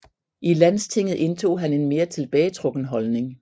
I Landstinget indtog han en mere tilbagetrukken holdning